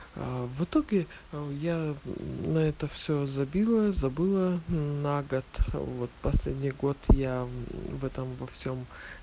в итоге я на это все забила забыла на год вот последний год я в этом во всем